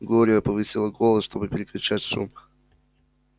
глория повысила голос чтобы перекричать шум